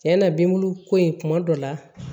Cɛn na bin bulu ko in kuma dɔ la